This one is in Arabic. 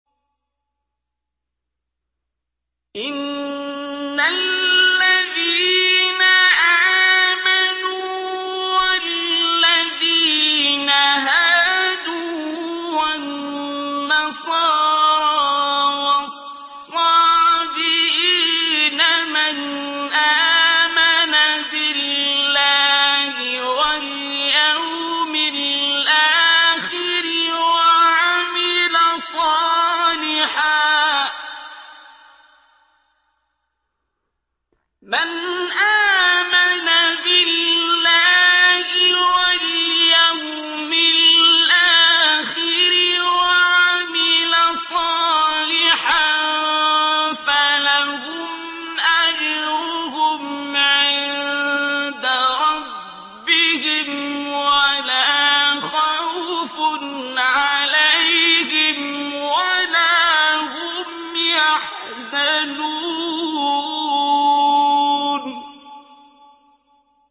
إِنَّ الَّذِينَ آمَنُوا وَالَّذِينَ هَادُوا وَالنَّصَارَىٰ وَالصَّابِئِينَ مَنْ آمَنَ بِاللَّهِ وَالْيَوْمِ الْآخِرِ وَعَمِلَ صَالِحًا فَلَهُمْ أَجْرُهُمْ عِندَ رَبِّهِمْ وَلَا خَوْفٌ عَلَيْهِمْ وَلَا هُمْ يَحْزَنُونَ